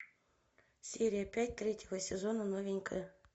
серия пять третьего сезона новенькая